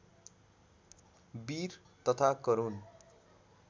वीर तथा करुण